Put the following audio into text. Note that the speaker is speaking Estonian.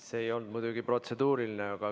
See muidugi ei olnud protseduuriline küsimus.